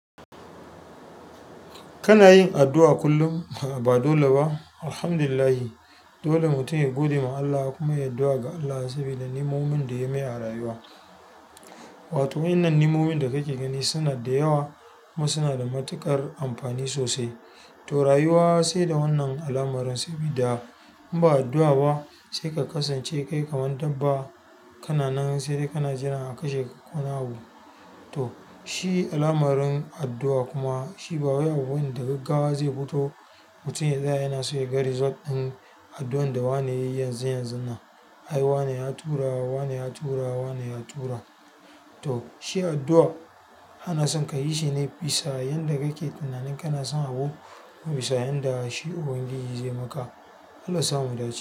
Kana yin addu'a kullum? Ba dole ba. Alhamdulillah dole mutum ya godiya ma Allah kuma yayi addu'a ga Allah saboda niimomin da ya yi mai a rayuwa. Wato, wannan niimomin da kake gani suna da yawa kuma suna da matuƙar amfani sosai. To, rayuwa sai da wannan alamarinsa. Sabida inba addu'a ba sai ka kasance kai kamar dabba. Kana nan sai dai kana jiran a kashe ka konawa. To, shi alamarun addu'a kuma shi ba wai abu bane da gaggawa zai fito mutum ya tsaya yana so ya ga result ɗin addu'an da wane yayi yanzu yanzuna. Ai wane ya tura wane ya tura wane ya tura to, shi addu'a ana son ka yi shi ne bisa yadda kake tunanin kana son abu kuma bisa yadda shi ubangiji zai maka. Allah sa mu da ce.